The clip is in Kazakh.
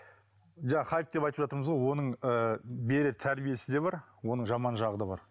жаңа хайп деп айтып жатырмыз ғой оның ыыы берер тәрбиесі де бар оның жаман жағы да бар